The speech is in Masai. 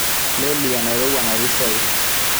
loly enairowua natii soy